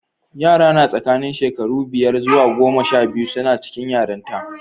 Yara na tsakanin shekaru biyar zuwa goma sha biyu suna cikin yaranta.